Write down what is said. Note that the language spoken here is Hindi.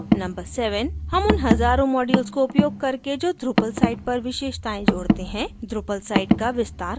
number 7: हम उन हज़ारों मॉड्यूल्स को उपयोग करके जो drupal साइट पर विशेषताएं जोड़ते हैं drupal साइट का विस्तार कर सकते हैं